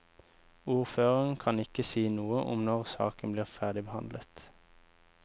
Ordføreren kan ikke si noe om når saken blir ferdigbehandlet.